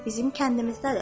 Bizim kəndimizdədir.